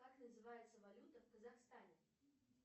как называется валюта в казахстане